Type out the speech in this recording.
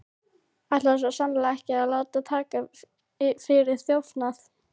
Ætlaði svo sannarlega ekki að láta taka mig fyrir þjófnað.